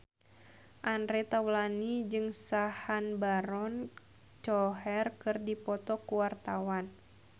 Andre Taulany jeung Sacha Baron Cohen keur dipoto ku wartawan